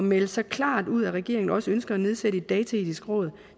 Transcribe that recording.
melde så klart ud at regeringen også ønsker at nedsætte et dataetisk råd